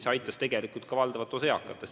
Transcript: See aitab tegelikult ka valdavat osa eakatest.